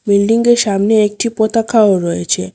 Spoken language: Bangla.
বিল্ডিংয়ের সামনে একটি পতাকাও রয়েছে।